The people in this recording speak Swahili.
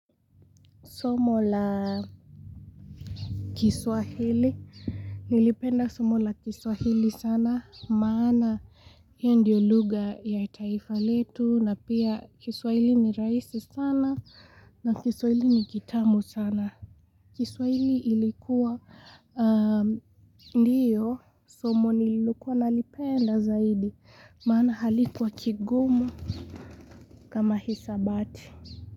Somo la kiswahili, nilipenda somo la kiswahili sana, maana hiyo ndiyo lugha ya taifa letu na pia kiswahili ni rahisi sana na kiswahili ni kitamu sana. Kiswahili ilikuwa ndio somo nilikuwa nalipenda zaidi, maana halikuwa kigumu kama hisabati.